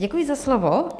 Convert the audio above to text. Děkuji za slovo.